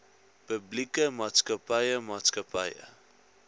publieke maatskappye maatskappye